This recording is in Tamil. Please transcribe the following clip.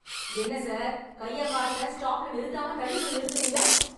என்ன சார்... கைய காட்டறேன், ஸ்டாப்ல நிறுத்தாம தள்ளிப் போய் நிறுத்தறீங்க...